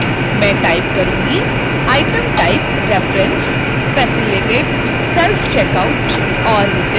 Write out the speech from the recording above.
मैं type करुँगीitem typereference